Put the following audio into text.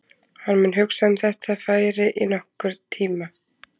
Hann mun hugsa um þetta færi í nokkurn tíma.